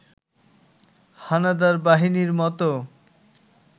হানাদার বাহিনীর মতো